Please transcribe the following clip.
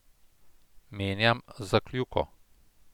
Menjam za kljuko.